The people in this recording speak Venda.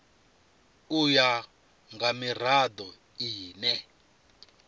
u ya nga mirado ine